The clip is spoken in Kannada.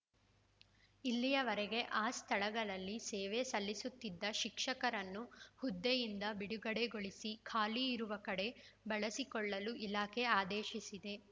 ಇಲ್ಲಿಯವರೆಗೆ ಆ ಸ್ಥಳಗಳಲ್ಲಿ ಸೇವೆ ಸಲ್ಲಿಸುತ್ತಿದ್ದ ಶಿಕ್ಷಕರನ್ನು ಹುದ್ದೆಯಿಂದ ಬಿಡುಗಡೆಗೊಳಿಸಿ ಖಾಲಿ ಇರುವ ಕಡೆ ಬಳಸಿಕೊಳ್ಳಲು ಇಲಾಖೆ ಆದೇಶಿಸಿದೆ